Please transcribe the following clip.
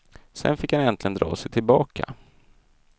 Sen fick han äntligen dra sig tillbaka.